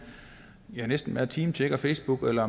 næsten hver time tjekker facebook eller